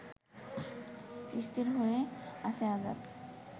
স্থির হয়ে আছে আজাদ